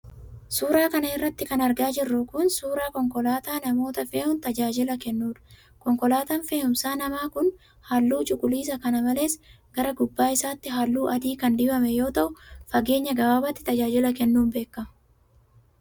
Suura kana irratti kan argaa jirru kun, suura konkolaataa namoota fe'uun tajaajila kennuudha. Konkolaataan fe'uumsa namaa kun ,haalluu cuquliisa kana malees gara gubbaa isaatti haalluu adii kan dibame yoo ta'u, fageenya gabaabaatti tajaajila kennuun beekama.